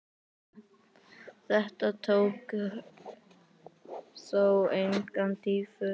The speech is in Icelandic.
Þetta tók þó enga dýfu.